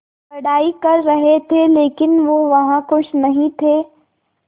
पढ़ाई कर रहे थे लेकिन वो वहां ख़ुश नहीं थे